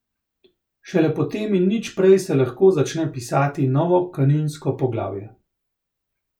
Šele po tem in nič prej se lahko začne pisati novo kaninsko poglavje.